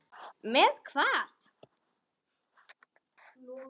Með hvað?